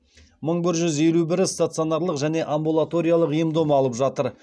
мың бір жүз елу бірі стационарлық және амбулаториялық ем дом алып жатыр